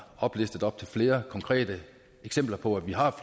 oplistet op til flere konkrete eksempler på at vi har